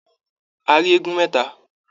A rí eégún mẹta.